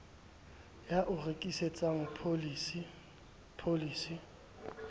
ya o rekisetsang pholisi pholisi